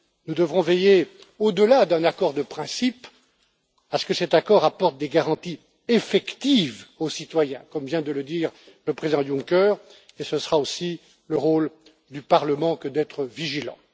Nous devrons veiller, au delà d'un accord de principe, à ce que cet accord apporte des garanties effectives aux citoyens, comme vient de le dire le Président Juncker, et ce sera aussi le rôle du Parlement que d'être vigilant.